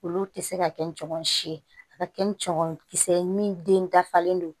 Olu tɛ se ka kɛ n cɔgɔn si ye a ka kɛ ni cɔ kisɛ ye min den dafalen don